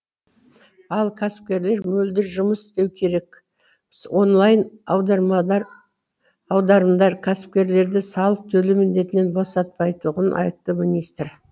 ал кәсіпкерлер мөлдір жұмыс істеуі керек онлайн аударымдар кәсіпкерлерді салық төлеу міндетінен босатпайтұғын айтты министр